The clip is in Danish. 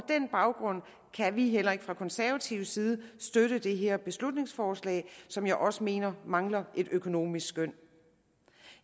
den baggrund kan vi heller ikke fra konservativ side støtte det her beslutningsforslag som jeg også mener mangler et økonomisk skøn